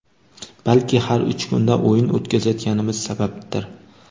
Balki har uch kunda o‘yin o‘tkazayotganimiz sababdir.